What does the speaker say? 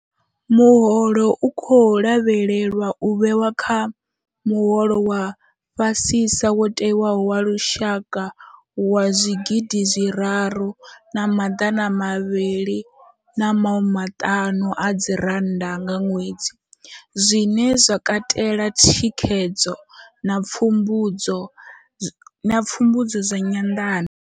Muholo u khou lavhelelwa u vhewa kha muholo wa fhasisa wo tewaho wa lushaka wa R3 500 nga ṅwedzi, zwine zwa katela thikhedzo na pfumbudzo zwa nyanḓano.